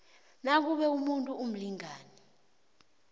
nakube umuntu umlingani